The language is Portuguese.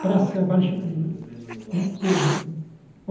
Praça Barche Mas ele foi preso no?